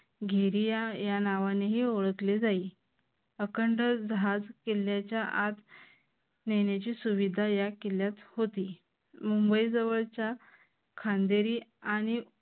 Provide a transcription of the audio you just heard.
घिरी या नावाने ओळखले जाईल. अखंड जहाज किल्ल्याच्या आत नेण्याची सुविधा या किल्ल्यात होती मुंबई जवळच्या खांदेरी आणि